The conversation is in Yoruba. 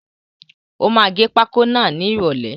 Ó máa gẹ pákó náà ni ìròlẹ́.